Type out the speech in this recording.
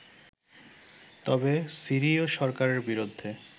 তবে সিরিয় সরকারের বিরুদ্ধে